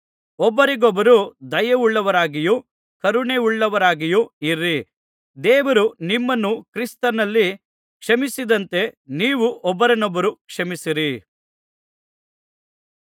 ಒಬ್ಬರಿಗೊಬ್ಬರು ದಯೆಯುಳ್ಳವರಾಗಿಯೂ ಕರುಣೆಯುಳ್ಳವರಾಗಿಯೂ ಇರಿ ದೇವರು ನಿಮ್ಮನ್ನು ಕ್ರಿಸ್ತನಲ್ಲಿ ಕ್ಷಮಿಸಿದಂತೆ ನೀವು ಒಬ್ಬರನ್ನೊಬ್ಬರು ಕ್ಷಮಿಸಿರಿ